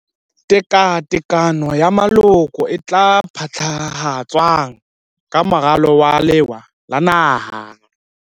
Tekatekano ya Moloko e tla phethahatswang ka Moralo wa Lewa la Naha.